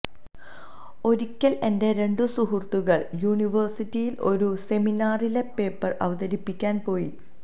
ഒരിക്കല് എന്റെ രണ്ടു സുഹൃത്തുക്കള് യൂണിവേഴ്സിറ്റിയില് ഒരു സെമിനാറില് പേപ്പര് അവതിപ്പിക്കാന് പോയി